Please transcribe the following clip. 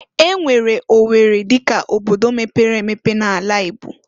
E nwere O werri dịka obodo mepere emepe na'ala Igbo.